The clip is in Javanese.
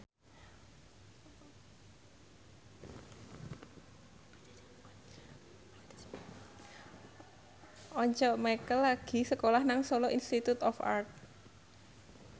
Once Mekel lagi sekolah nang Solo Institute of Art